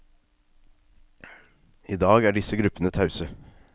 I dag er disse gruppene tause.